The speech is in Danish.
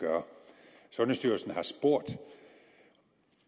gøre sundhedsstyrelsen har